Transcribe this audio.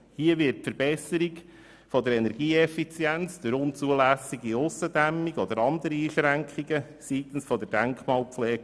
Hier wird die Verbesserung der Energieeffizienz zusätzlich erschwert durch unzulässige Aussendämmung oder andere Einschränkungen seitens der Denkmalpflege.